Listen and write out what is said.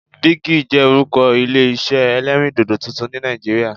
Bigi' jẹ́ orúkọ Ilé isẹ́ ẹlẹ́rìndòdò tuntun ni Nàìjíríà